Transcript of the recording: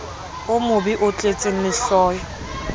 o mobe o tletseng lehloyo